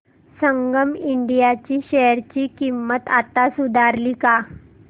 संगम India ची share किंमत आता सुधारली का